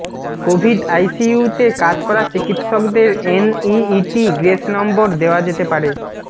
Covid আইসিইউতে কাজ করা চিকিৎসকদের এনইইটি গ্রেস নম্বর দেওয়া যেতে পারে